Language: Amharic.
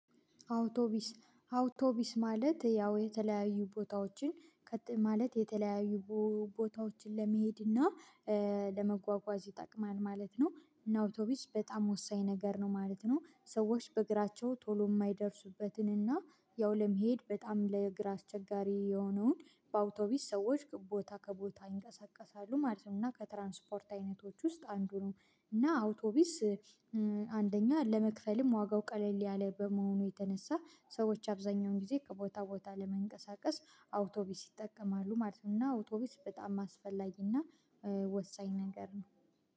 አውቶቢስ አውቶቢስ ማለት ያው የተለያዩ ቦታዎችን ማለት የተለያዩ ቦታዎችን ለመሄድ እና ለመጓጓዝ ይጠቅማል ማለት ነው እና አውቶቢስ በጣም ወሳኝ ነገር ነው ማለት ነው ሰዎች በእግራቸው ቶሎ የማይደርሱበትን እና ያው ለመሄድ በጣም ለእግር አስቸጋሪ የሆነውን በአውቶቢስ ሰዎች ቦታ ከቦታ ይንቀሳቀሳሉ ማለት ነው እና ከትራንስፖርት አይነቶች ውስጥ አንዱ ነው። እና አውቶቢስ አንደኛ ለመክፈልም ዋጋው ቀለል ያለ በመሆኑ የተነሳ ሰዎች አብዛኛውን ጊዜ ከቦታ ቦታ ለመንቀሳቀስ አውቶቢስ ይጠቀማሉ ማለት ነው እና አውቶቢስ በጣም አስፈላጊና ወሳኝ ነገር ነው